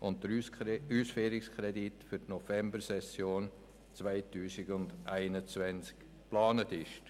und der Ausführungskredit für die Novembersession 2021 geplant sind.